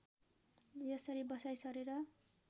यसरी बसाइँ सरेर